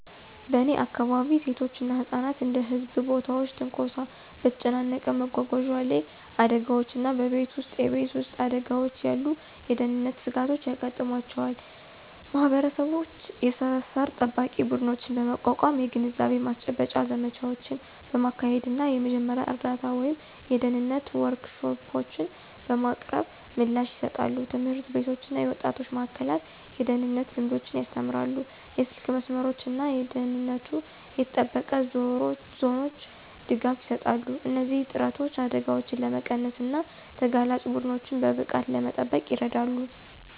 በእኔ አካባቢ፣ ሴቶች እና ህጻናት እንደ በህዝብ ቦታዎች ትንኮሳ፣ በተጨናነቀ መጓጓዣ ላይ አደጋዎች እና በቤት ውስጥ የቤት ውስጥ አደጋዎች ያሉ የደህንነት ስጋቶች ያጋጥሟቸዋል። ማህበረሰቦች የሰፈር ጠባቂ ቡድኖችን በማቋቋም፣ የግንዛቤ ማስጨበጫ ዘመቻዎችን በማካሄድ እና የመጀመሪያ እርዳታ ወይም የደህንነት ወርክሾፖችን በማቅረብ ምላሽ ይሰጣሉ። ትምህርት ቤቶች እና የወጣቶች ማእከላት የደህንነት ልምዶችን ያስተምራሉ, የስልክ መስመሮች እና ደህንነቱ የተጠበቀ ዞኖች ድጋፍ ይሰጣሉ. እነዚህ ጥረቶች አደጋዎችን ለመቀነስ እና ተጋላጭ ቡድኖችን በብቃት ለመጠበቅ ይረዳሉ።